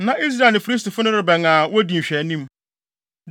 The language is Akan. Na Israel ne Filistifo no rebɛn a wodi nhwɛanim.